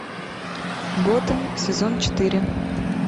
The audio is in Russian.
готэм сезон четыре